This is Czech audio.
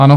Ano.